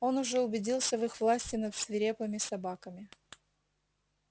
он уже убедился в их власти над свирепыми собаками